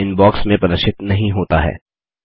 यह अब इनबॉक्स में प्रदर्शित नहीं होता है